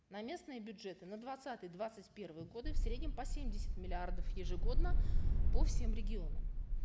на местные бюджеты на двадцатый двадцать первый годы в среднем по семьдесят миллиардов ежегодно по всем регионам